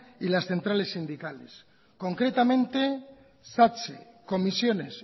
y las centrales sindicales concretamente satse comisiones